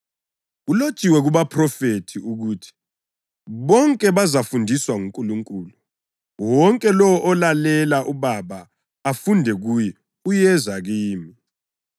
Kulotshiwe kubaphrofethi ukuthi: ‘Bonke bazafundiswa nguNkulunkulu.’ + 6.45 U-Isaya 54.13 Wonke lowo olalela uBaba afunde kuye uyeza kimi.